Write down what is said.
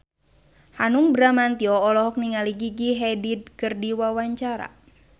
Hanung Bramantyo olohok ningali Gigi Hadid keur diwawancara